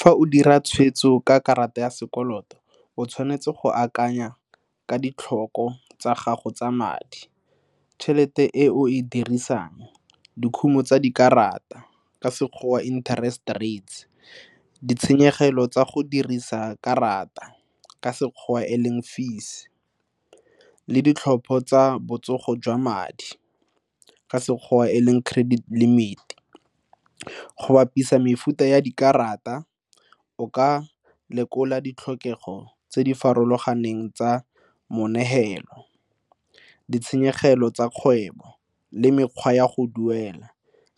Fa o dira tshwetso ka karata ya sekoloto o tshwanetse go akanya ka ditlhoko tsa gago tsa madi. Tšhelete e o e dirisang, dikhumo tsa dikarata, ka sekgowa interest rates, ditshenyegelo tsa go dirisa karata, ka sekgowa e leng fees, le ditlhopho tsa botsogo jwa madi, ka sekgowa e leng credit limit. Go bapisa mefuta ya dikarata o ka lekola ditlhokego tse di farologaneng tsa moneelo, ditshenyegelo tsa kgwebo le mekgwa ya go duela,